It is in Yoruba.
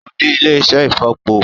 Ó ní ilé-iṣẹ́ ìfọ̀po